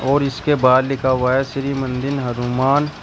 और इसके बाहर लिखा हुआ है श्री मंदिर हनुमान।